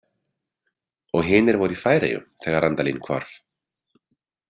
Og hinir voru í Færeyjum þegar Randalín hvarf?